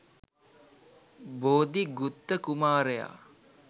බෝධි ගුත්ත කුමාරයා